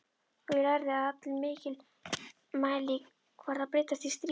Og ég lærði að allir mælikvarðar breytast í stríði.